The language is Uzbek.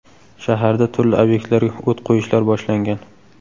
Shaharda turli obyektlarga o‘t qo‘yishlar boshlangan.